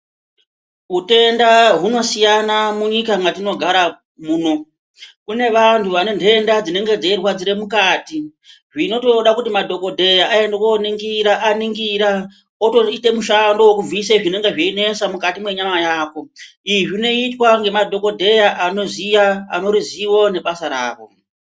Hutenda huno siyana munyika mwatino gara muno kune vantu vane dhenda dzinenge dzeyi rwadzira mukati zvinotoda kuti madhokodheya aende ko ningira aningira otoite mishando weku bvise zvinenge zveyi nesa mukati mwe nyama yako izvi zvinoitwa ne madhokodheya ane ruzivo ne basa ravo.